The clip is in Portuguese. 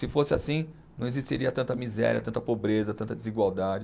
Se fosse assim, não existiria tanta miséria, tanta pobreza, tanta desigualdade.